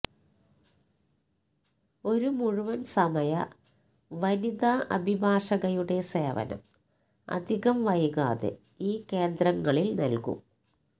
ഒരു മുഴുവന് സമയ വനിത അഭിഭാഷകയുടെ സേവനം അധികം വൈകാതെ ഈ കേന്ദ്രങ്ങളില് നല്കും